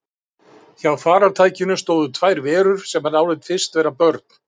Hjá farartækinu stóðu tvær verur sem hann áleit fyrst vera börn.